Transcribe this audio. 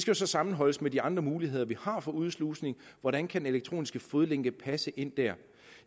jo så sammenholdes med de andre muligheder vi har for udslusning hvordan kan den elektroniske fodlænke passe ind der